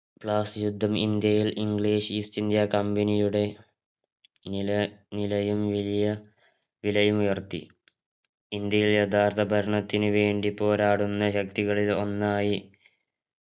പ്ലാസി യുദ്ധം ഇന്ത്യയിൽ English East India കമ്പനിയുടെ നില നിലയും വലിയ വിലയുമുയർത്തി ഇന്ത്യയെ യഥാർത്ഥ ഭരണത്തിനുവേണ്ടി പോരാടുന്ന യഥാർത്ഥ ശക്തികളിൽ ഒന്നായി